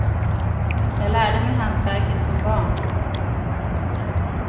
Jag lärde mig hantverket som barn.